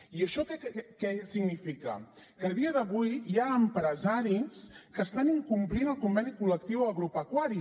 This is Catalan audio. i això què significa que a dia d’avui hi ha empresaris que estan incomplint el conveni col·lectiu agropecuari